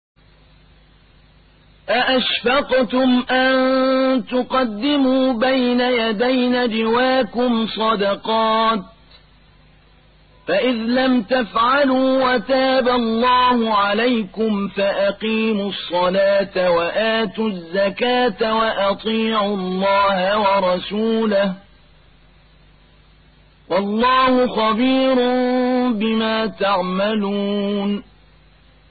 أَأَشْفَقْتُمْ أَن تُقَدِّمُوا بَيْنَ يَدَيْ نَجْوَاكُمْ صَدَقَاتٍ ۚ فَإِذْ لَمْ تَفْعَلُوا وَتَابَ اللَّهُ عَلَيْكُمْ فَأَقِيمُوا الصَّلَاةَ وَآتُوا الزَّكَاةَ وَأَطِيعُوا اللَّهَ وَرَسُولَهُ ۚ وَاللَّهُ خَبِيرٌ بِمَا تَعْمَلُونَ